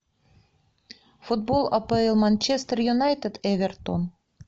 футбол апл манчестер юнайтед эвертон